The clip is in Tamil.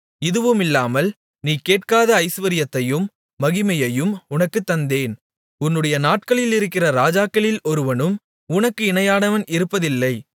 இதுவுமில்லாமல் நீ கேட்காத ஐசுவரியத்தையும் மகிமையையும் உனக்குத் தந்தேன் உன்னுடைய நாட்களில் இருக்கிற ராஜாக்களில் ஒருவனும் உனக்கு இணையானவன் இருப்பதில்லை